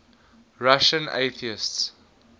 russian atheists